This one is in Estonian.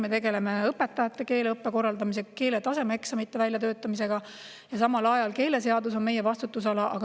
Me tegeleme õpetajate keeleõppe korraldamisega, keele tasemeeksamite väljatöötamisega ja samal ajal on keeleseadus meie vastutusalas.